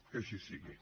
que així sigui